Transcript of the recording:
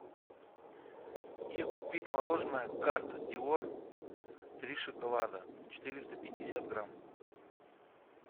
где купить мороженое карта дор три шоколада четыреста пятьдесят грамм